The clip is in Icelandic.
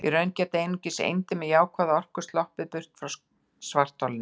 Í raun geta einungis eindir með jákvæða orku sloppið burt frá svartholinu.